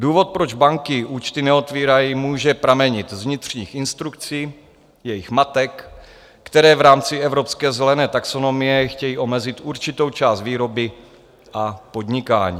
Důvod, proč banky účty neotvírají, může pramenit z vnitřních instrukcí jejich matek, které v rámci evropské zelené taxonomie chtějí omezit určitou část výroby a podnikání.